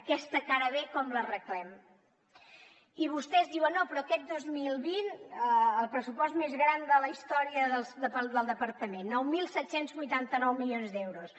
aquesta cara b com l’arreglem i vostès diuen no però aquest dos mil vint el pressupost més gran de la història del departament nou mil set cents i vuitanta nou milions d’euros